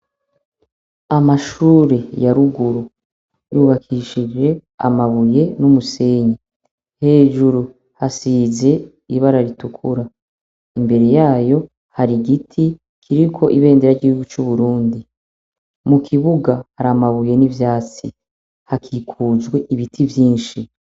Amashure yaruguru yubakishije amabuye n'umusenyi hejuru hasize ibara ritukura imbere yayo hari igiti kiriko ibendera ryikugu c'uburundi mu kibuga hari amabuye n'ivyatsi hakikujwe ibii ivyinshi.